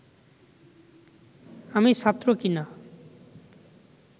আমি ছাত্র কি না